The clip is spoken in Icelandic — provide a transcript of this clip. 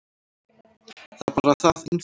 Það er bara það einfalt.